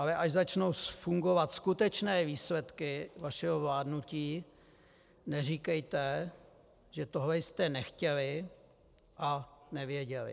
Ale až začnou fungovat skutečné výsledky vašeho vládnutí, neříkejte, že tohle jste nechtěli a nevěděli.